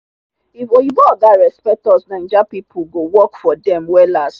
if oyinbo oga respect us naija people go work for dem wellas.